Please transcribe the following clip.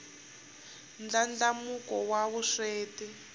ndlandlamuko wa vusweti